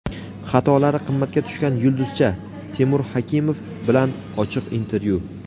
Xatolari qimmatga tushgan yulduzcha – Temur Hakimov bilan ochiq intervyu.